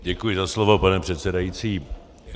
Děkuji za slovo, pane předsedající.